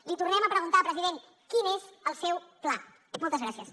l’hi tornem a preguntar president quin és el seu pla moltes gràcies